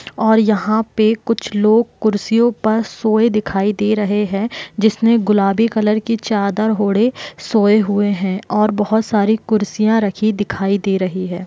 और यहाँ पे कुछ लोग कुर्सियों पर सोए दिखाई दे रहे है जिसने गुलाबी कलर की चादर ओढ़े सोए हुए है और बोहत सारी कुर्सियां रखी दिखाई दे रही है।